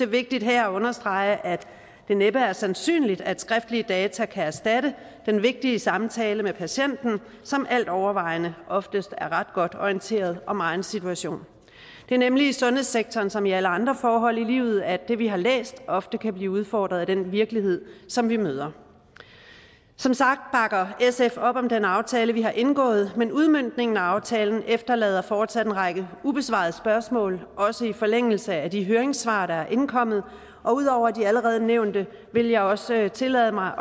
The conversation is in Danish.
vigtigt her at understrege at det næppe er sandsynligt at skriftlige data kan erstatte den vigtige samtale med patienten som alt overvejende oftest er ret godt orienteret om egen situation det er nemlig i sundhedssektoren som i alle andre forhold i livet at det vi har læst ofte kan blive udfordret af den virkelighed som vi møder som sagt bakker sf op om den aftale vi har indgået men udmøntningen af aftalen efterlader fortsat en række ubesvarede spørgsmål også i forlængelse af de høringssvar der er indkommet ud over de allerede nævnte vil jeg også tillade mig